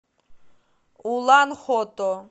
улан хото